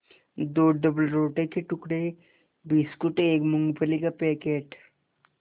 दो डबलरोटी के टुकड़े बिस्कुट एक मूँगफली का पैकेट